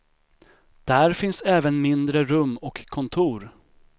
Där finns även mindre rum och kontor.